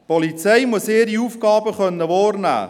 Die Polizei muss ihre Aufgaben wahrnehmen können.